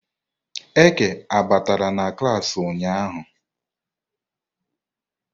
Eke batara na klas ụnyahụ?